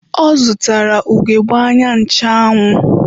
Ọ zụtara ugegbe anya ncheanwụ.